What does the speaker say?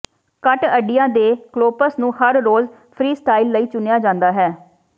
ਘੱਟ ਅੱਡੀਆਂ ਦੇ ਕਲੌਪਸ ਨੂੰ ਹਰ ਰੋਜ ਫਰੀ ਸਟਾਈਲ ਲਈ ਚੁਣਿਆ ਜਾਂਦਾ ਹੈ